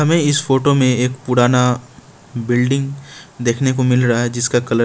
हमें इस फोटो में एक पुराना बिल्डिंग देखने को मिल रहा है जिसका कलर--